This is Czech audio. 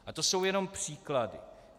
A to jsou jenom příklady.